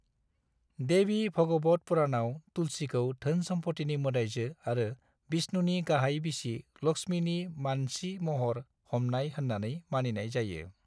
देवी भागवत पुराणआव तुलसीखौ धोन-सम्फथिनि मोदायजो आरो विष्णुनि गाहाइ बिसि लक्ष्मीनि मानसि महर हमनाय होननानै मानिनाय जायो।